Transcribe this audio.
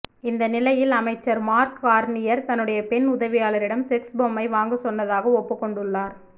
இந்த நிலையில் அமைச்சர் மார்க் கார்னியர் தன்னுடைய பெண் உதவியாளரிடம் செக்ஸ் பொம்மை வாங்க சொன்னதாக ஒப்புக்கொண்டுள்ளார்